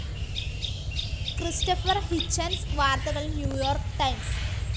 Christopher Hitchens വാർത്തകൾ New York times